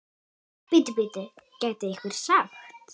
Bíddu, bíddu, gæti einhver sagt.